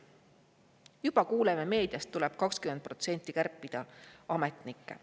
Juba kuuleme meediast, et tuleb 20% kärpida ametnikke.